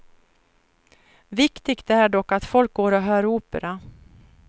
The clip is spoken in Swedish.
Viktigt är dock att folk går och hör opera.